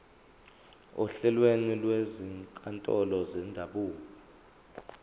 ohlelweni lwezinkantolo zendabuko